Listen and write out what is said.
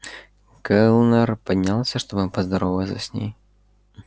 кэллнер поднялся чтобы поздороваться с ней